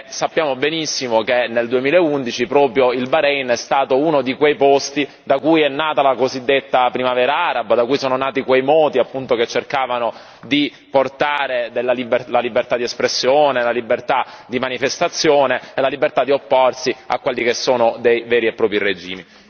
Sappiamo benissimo che nel 2011 proprio il Bahrein è stato uno di quei Paesi da cui è nata la cosiddetta Primavera araba, da cui sono nati quei moti che cercavano di portare la libertà di espressione, la libertà di manifestazione e la libertà di opporsi a quelli che sono dei veri e propri regimi.